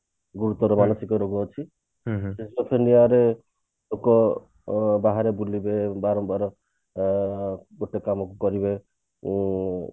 ଗୁରୁତର ମାନସିକ ରୋଗ ଅଛି ଲୋକ ବହରେ ବୁଲିବେ ବାହାରେ ଗରମ ଅ ଉଁ